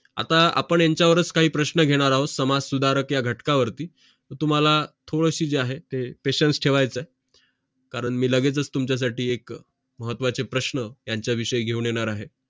आता आपण यांचा वरच काही प्रश्न घेणार आहोत समाज सुधारक या घटक वरती तुम्हाला थोडाशी जे आहे patience ठेवायचं आहे कारण मी लगेच तुमचा साठी एक महत्वाचे प्रश्न यांचा विषयी घेऊन येणार अहो